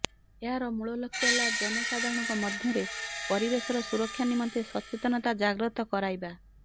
ଏହାର ମୂଳ ଲକ୍ଷ୍ୟ ହେଲା ଜନସାଧାରଣଙ୍କ ମଧ୍ୟରେ ପରିବେଶର ସୁରକ୍ଷା ନିମନ୍ତେ ସଚେତନତା ଜାଗ୍ରତ କରାଇବା